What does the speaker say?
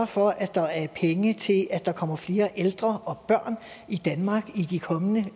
for at der er penge til at der kommer flere ældre og børn i danmark i det kommende